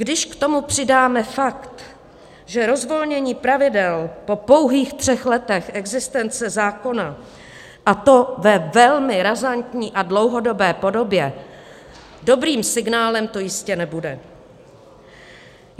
Když k tomu přidáme fakt, že rozvolnění pravidel po pouhých třech letech existence zákona, a to ve velmi razantní a dlouhodobé podobě, dobrým signálem to jistě nebude.